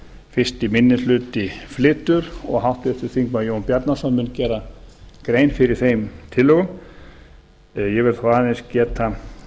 fyrsti minni hluti flytur og háttvirtur þingmaður jón bjarnason mun gera grein fyrir þeim tillögum ég vil þó aðeins geta